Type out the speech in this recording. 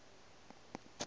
a na le mašoto ao